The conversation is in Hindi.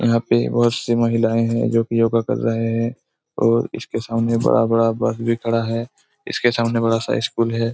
यहाँ पे बहुत सी महिलाए है जो की योगा कर रहे है और इसके सामने बड़ा-बड़ा बस भी खड़ा है इसके सामने बड़ा-सा स्कुल है।